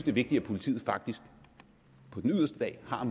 er vigtigt at politiet på den yderste dag har